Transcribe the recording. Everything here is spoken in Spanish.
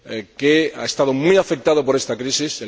que ha estado muy afectado por esta crisis